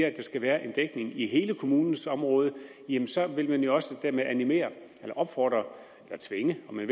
at der skal være en dækning i hele kommunens område så vil man jo også dermed animere eller opfordre eller tvinge om man